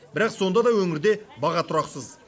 бірақ сонда да өңірде баға тұрақсыз